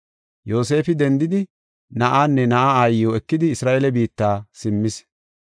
Yoosefi dendidi na7aanne na7aa aayiw ekidi Isra7eele biitta simmis.